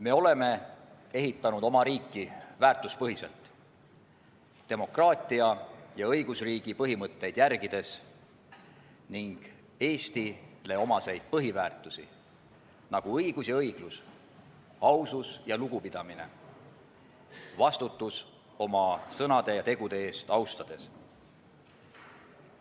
Me oleme ehitanud oma riiki väärtuspõhiselt, demokraatia ja õigusriigi põhimõtteid järgides ning Eestile omaseid põhiväärtusi, nagu õigus ja õiglus, ausus ja lugupidamine, vastutus oma sõnade ja tegude eest, austades.